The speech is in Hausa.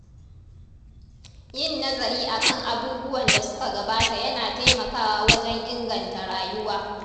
Yin nazari a kan abubuwan da suka gabata yana taimakawa wajen inganta rayuwa.